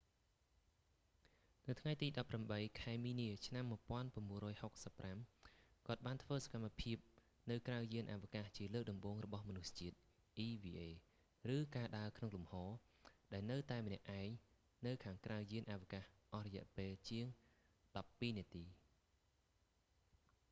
នៅថ្ងៃទី18 ខែមីនាឆ្នាំ1965 គាត់បានធ្វើសកម្មភាពនៅក្រៅយានអាវកាសជាលើកដំបូងរបស់មនុស្សជាតិ eva ឬ ការដើរក្នុងលំហ ដែលនៅតែម្នាក់ឯងនៅខាងក្រៅយានអវកាសអស់រយៈពេលជាងដប់ពីរនាទី